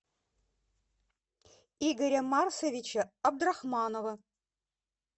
игоря марсовича абдрахманова